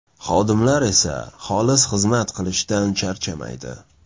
Xodimlar esa xolis xizmat qilishdan charchamaydi.